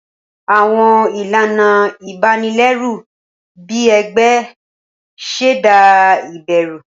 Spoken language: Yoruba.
Awọn ilana ibanilẹru, bii igbe, ṣẹda iberu.